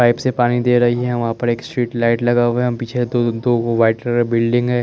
pipe से पानी दे रही हैं वहां पर एक स्ट्रीट लाइट लगा हुआ हैं पीछे दो दो वाइट कलर के बिल्डिंग ह--